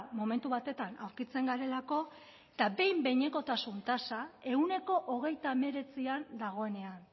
momentu batetan aurkitzen garelako eta behin behinekotasun tasa ehuneko hogeita hemeretzian dagoenean